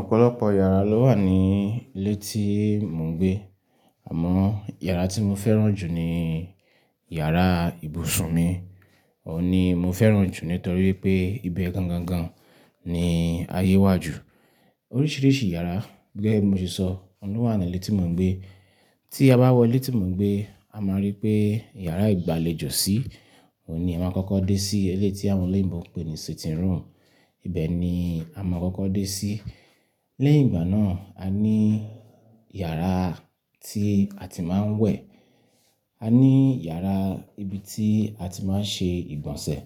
Ọ̀pọ̀lọpọ̀ yàrá ló wà ní ilé tí mò ń gbé. Àmọ́ yàrá tí mo fẹ́ràn jù ni yàrá ibùsùn mi. Òun ni mo fẹ́ràn jù nítorí pé ibẹ̀ gangan gan ni ayé wá ju. Oríṣiríṣi yàrá gẹ́gẹ́ bí mo ṣe sọ, òun ló wà ní ilé tí mò ń gbé. Tí a bá wọ ilé tí mò ń gbé, a máa rí pé yàrá ìgbàlejò sí. Òun ni a má ma kọ́kọ́ dé sí. Eléyìí tí àwọn olóyìnbo ń pè ní sitting room. Ibẹ̀ ni a máa kọ́kọ́ dé sí. Lẹ́yìn ìgbà náà, a ní yàrá tí a ti máa ń wẹ̀. A ní yàrá ibi tí a ti máa ń ṣe ìgbọ̀nsẹ̀.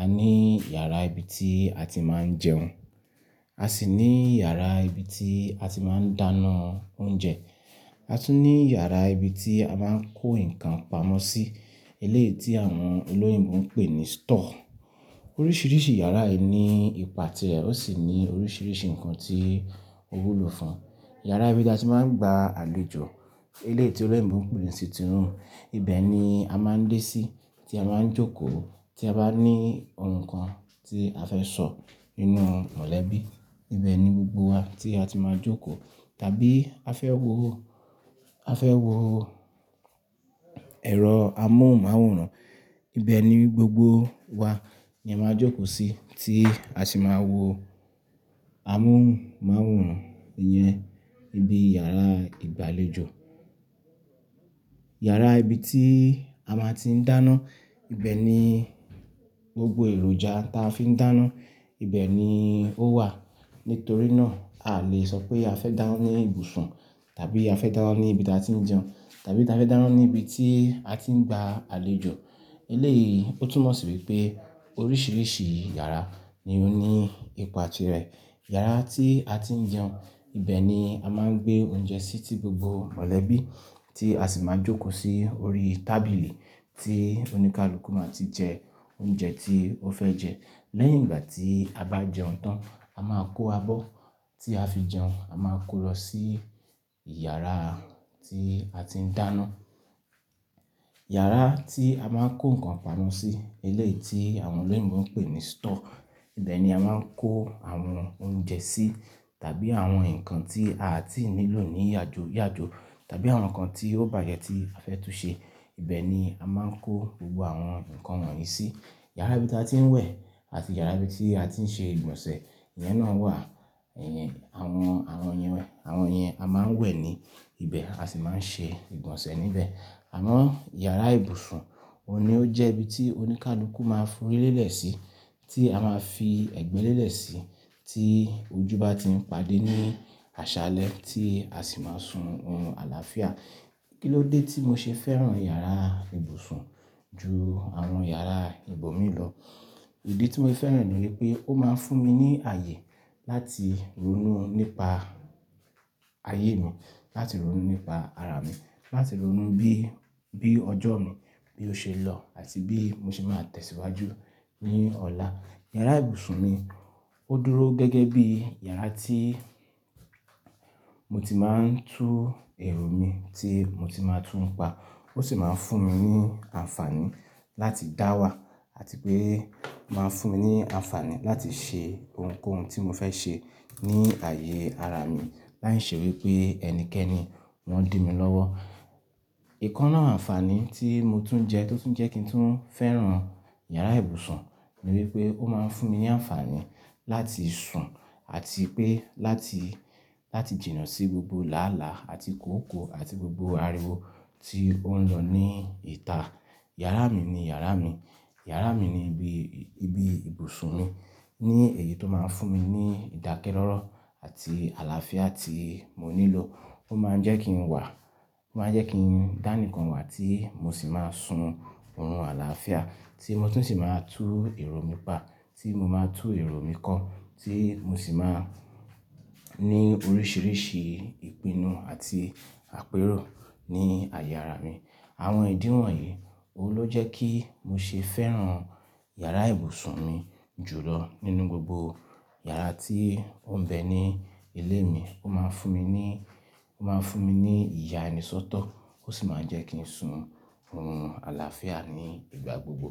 A ní yàrá ibi tí a ti máa ń jẹun. A sì ní yàrá ibi tí a ti máa ń dáná oúnjẹ. A tún ní yàrá ibi tí a máa ń kó nǹkan pamọ́ sí. Eléyìí tí àwọn olóyìnbo ń pè ní store. Oríṣiríṣi yàrá yìí ni ipa ti rẹ̀ ó sì ní oríṣiríṣi nǹkan tí ó wúlò fún. Yàrá ibi tí a ti máa ń gba àlejò, eléyìí tí olóyìnbo ń pè ní sitting room. Ibẹ̀ ni a máa ń dé sí tí a máa ń jókòó. Tí a bá ní ohun kan tí a fẹ́ sọ nínú mọ̀lẹ́bí, ibẹ̀ ni gbogbo wa tí a ti máa jókòó. Tàbí a fẹ́ wo, a fẹ́ wo ẹ̀rọ amóhùnmáwòrán, ibẹ̀ ni gbogbo wa ni a máa jókòó sí tí a sì máa wo amóhùnmáwòrán yẹn níbi yàrá ìgbàlejò. Yàrá ibi tí a máa ti ń dáná, ibẹ̀ ni gbogbo èròjà tí a fi ń dáná, ibẹ̀ ni ó wà. Nítorí náà, a lè sọ pé a fẹ́ dáná ní ibùsùn tàbí a fẹ́ dáná ní ibi tí a ti ń jẹun tàbí a fẹ́ dáná ní ibi tí a ti ń gba àlejò. Eleyii ó túnmọ̀ sí wipé oríṣiríṣi yàrá ni ó ní ipa ti rẹ̀. Yàrá tí a ti ń jẹun, ibẹ̀ ni a máa ń gbé oúnjẹ sí ti gbogbo mọ̀lẹ́bí tí a sì máa jókòó sí orí tábìlì tí oníkálukú máa ti jẹ oúnjẹ tí ó fẹ́ jẹ. Lẹ́yìn ìgbà tí a bá jẹun tán, a máa kó abọ́ tí a fi jẹun, a máa kó lọ sí yàrá tí a ti ń dáná. Yàrá tí a máa ń kó nǹkan pamọ́ sí, ilé tí àwọn olóyìnbo ń pè ní store. Ibẹ̀ ni a máa ń kó àwọn oúnjẹ sí tàbí àwọn nǹkan tí a ti nílò ní yàjoyàjo tàbí àwọn nǹkan tí ó bàjẹ́ tí a fẹ́ túnṣẹ. Ibẹ̀ ni a máa ń kó gbogbo àwọn nǹkan wọ̀nyí sí. Yàrá ibi tí a ti ń wẹ̀ àti yàrá ibi tí a ti ń ṣe ìgbọ̀nsẹ̀, ìyẹn náà wà. Ẹ̀yìn, àwọn, àwọn yẹn, àwọn yẹn, a máa ń wẹ̀ ní ibẹ̀, a sì máa ń ṣe ìgbọ̀nsẹ̀ níbẹ̀. Àmọ́ yàrá ibùsùn, òun ni ó jẹ́ ibi tí oníkálukú máa ń fi orí lélẹ̀ sí, tí a máa fi ẹ̀gbẹ́ lélẹ̀ sí tí ojú bá ti ń padé ní àṣálẹ́ tí a sì máa sun orun àlàáfíà. Kí ló dé tí mo ṣe fẹ́ràn yàrá ibùsùn ju àwọn yàrá ìbò mi lọ? Ìdí tí mo fẹ́ràn rẹ̀ ni wípé ó máa ń fún mi ní ààyè láti ronú nípa ayé mi, láti ronú nípa ara mi, láti ronú bí, bí ọjọ́ mi bí ó ṣe lọ àti bí mo ṣe máa tẹ̀síwájú ní ọ̀la. Yàrá ibùsùn mi, ó dúró gẹ́gẹ́ bí yàrá tí mo ti máa ń tú èrò mi tí mo ti máa tún pa. Ó sì máa ń fún mi ní àǹfààní láti dáwà àti pé máa ń fún mi ní àǹfààní láti ṣe ohunkóhun tí mo fẹ́ ṣe ní ààyè ara mi láìṣe wípé ẹnikẹ́ni wọ́n dì mi lọ́wọ́. Ìkan nu àwọn àǹfààní tí mo tún jẹ, tó tún jẹ́ kí n tún fẹ́ràn yàrá ibùsùn ni wípé ó máa ń fún mi ní àǹfààní láti sun àti pé láti, láti jìnnà sí gbogbo làálàá àti kòókòó àti gbogbo ariwo tí ó ń lọ ní ìta. Yàrá mi ni yàrá mi. Yàrá mi ni ibi, ibi ibùsùn mi. Ni èyí tó máa ń fún mi ní ìdákẹ́ rọ́rọ̀ àti àlàáfíà tí mo nílò. Ó máa ń jẹ́ kí n wà, ó máa ń jẹ́ kí n dá nìkan wà tí mo sì máa sun orun àlàáfíà, tí mo tún sì máa tú èrò mi pa, tí mo máa tú èrò mi kún, tí mo sì máa ní oríṣiríṣi ìpinnu àti àpérò ní ààyè ara mi. Àwọn ìdíwọ̀n yìí, òun ló jẹ́ kí mo ṣe fẹ́ràn yàrá ibùsùn mi jù lọ nínú gbogbo yàrá tí ó ń bẹ ní ilé mi. Ó máa ń fún mi ní, ó máa ń fún mi ní ìyà ẹni sọ́tọ̀. Ó sì máa ń jẹ́ kí n sun ohun àlàáfíà ní ìgbà gbogbo.